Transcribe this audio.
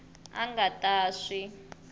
a a nga ta swi